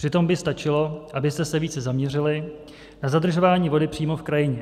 Přitom by stačilo, abyste se více zaměřili na zadržování vody přímo v krajině.